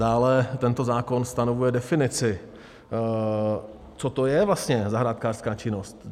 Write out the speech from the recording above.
Dále tento zákon stanovuje definici, co to je vlastně zahrádkářská činnost.